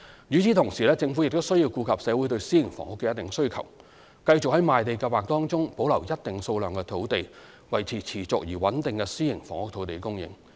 與此同時，政府亦需要顧及社會對私營房屋的一定需求，繼續在賣地計劃中保留一定數量的土地，維持持續而穩定的私營房屋土地供應。